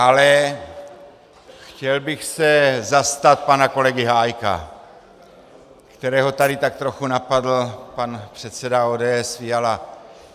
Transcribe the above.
Ale chtěl bych se zastat pana kolegy Hájka, kterého tady tak trochu napadl pan předseda ODS Fiala.